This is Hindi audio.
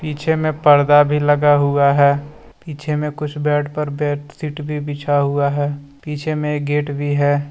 पीछे में पर्दा भी लगा हुआ है पीछे में कुछ बेड पर बेडशीट भी बिछा हुआ है पीछे में गेट भी है।